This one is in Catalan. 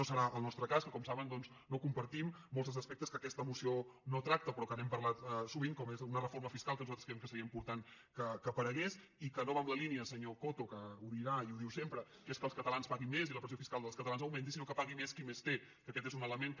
no serà el nostre cas que com saben doncs no com·partim molts dels aspectes que aquesta moció no trac·ta però que n’hem parlat sovint com és una reforma fiscal que nosaltres creiem que seria important que aparegués i que no va en la línia senyor coto que ho dirà i ho diu sempre que és que els catalans paguin més i la pressió fiscal dels catalans augmenti sinó que pagui més qui més té que aquest és un element que